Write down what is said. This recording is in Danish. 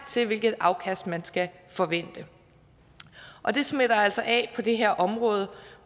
til hvilket afkast man skal forvente og det smitter altså af på det her område